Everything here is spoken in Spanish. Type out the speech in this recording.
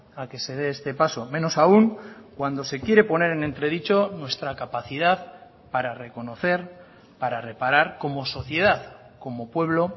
a que se dé este paso menos aún cuando se quiere poner en entredicho nuestra capacidad para reconocer para reparar como sociedad como pueblo